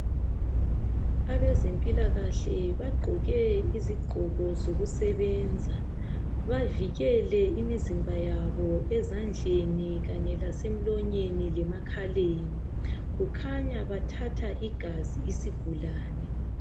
Abezempilakahle bagqoke izigqoko zokusebenza. Bavikele imizimba yabo ezandleni kanye lasemlonyeni lemakhaleni. Kukhanya bathatha igazi isigulane.